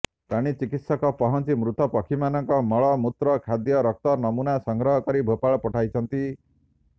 ପ୍ରାଣୀ ଚିକିତ୍ସକ ପହଁଚି ମୃତ ପକ୍ଷୀମାନଙ୍କ ମଳ ମୂତ୍ର ଖାଦ୍ୟ ରକ୍ତ ନମୁନା ସଂଗ୍ରହ କରି ଭୋପାଳ ପଠାଇଛନ୍ତି